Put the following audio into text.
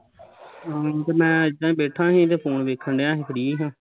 ਹਾਂ ਤੇ ਮੈਂ ਇੱਦਾਂ ਹੀਂ ਬੈਠਾ ਸੀ ਤੇ phone ਵੇਖਣ ਡਿਆ ਸੀ free ਸਾਂ